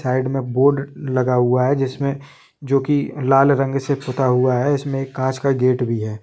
Side मे board लगा हुआ है जिसमे जो कि लाल रंग से पुता हुआ है इसमे कांच का एक गेट भी है।